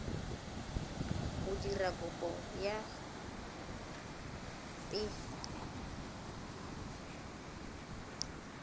go dira kopo ya fpe